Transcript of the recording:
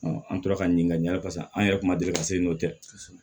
an tora ka ɲininkali an yɛrɛ tun ma deli ka se n'o tɛ